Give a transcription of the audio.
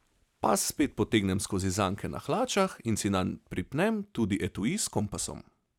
Pas spet potegnem skozi zanke na hlačah in si nanj pripnem tudi etui s kompasom.